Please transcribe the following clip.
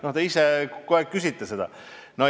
No te ise kogu aeg küsite seda.